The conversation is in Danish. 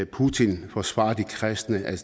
putin forsvarer de kristne er